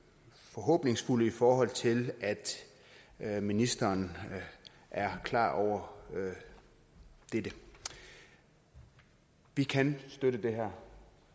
forhåbningsfulde i forhold til at ministeren er klar over dette vi kan støtte det her